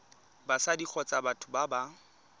batsadi kgotsa batho ba ba